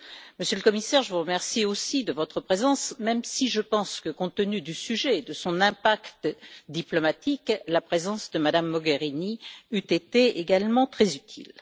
Monsieur le Commissaire, je vous remercie aussi de votre présence, même si je pense que, compte tenu du sujet et de son impact diplomatique, la présence de Mme Mogherini eût été également très utile.